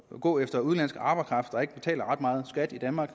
gå efter udenlandsk arbejdskraft der ikke betaler ret meget skat i danmark